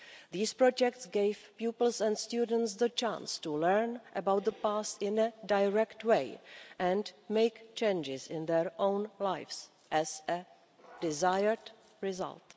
These projects gave pupils and students the chance to learn about the past in a direct way and make changes in their own lives as a desired result.